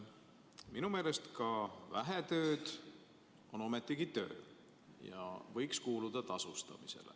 Minu meelest ka vähe tööd on ometigi töö ja seda võiks tasustada.